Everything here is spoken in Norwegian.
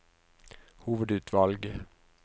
hovedutvalg